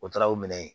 O taara o minɛ